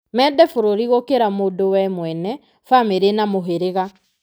Mende bũrũri gũkĩra mũndũ we mwene, bamĩrĩ na mũhĩrĩga.